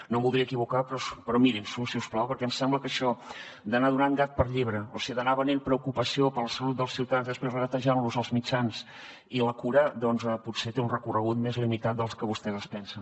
no em voldria equivocar però mirin s’ho si us plau perquè em sembla que això d’anar donant gat per llebre o sigui d’anar venent preocupació per la salut dels ciutadans i després regatejant los els mitjans i la cura doncs potser té un recorregut més limitat del que vostès es pensen